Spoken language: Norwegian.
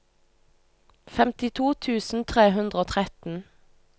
femtito tusen tre hundre og tretten